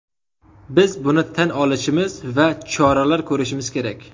Biz buni tan olishimiz va choralar ko‘rishimiz kerak”.